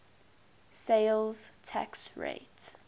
sales tax rate